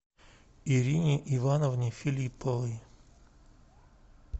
ирине ивановне филипповой